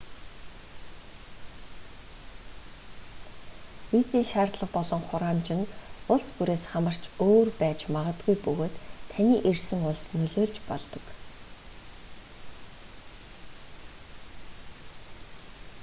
визийн шаардлага болон хураамж нь улс бүрээс хамаарч өөр байж магадгүй бөгөөд таны ирсэн улс нөлөөлж болдог